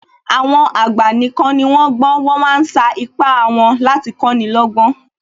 Àwọn àgbà nìkan ni wón gbọ́n, wọ́n ma ń sa ipá wọn láti kọ́ni lọ́gbọ́n